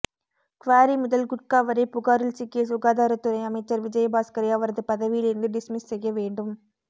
quarry முதல் குட்கா வரை புகாரில் சிக்கிய சுகாதாரத்துறை அமைச்சர் விஜயபாஸ்கரை அவரது பதவியில் இருந்து டிஸ்மிஸ் செய்ய வேண்டும்